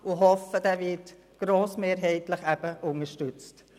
Ich hoffe, er werde grossmehrheitlich unterstützt.